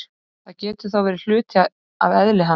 það getur þá verið hluti af eðli hans